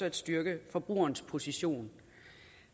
at styrke forbrugerens position